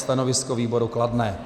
Stanovisko výboru kladné.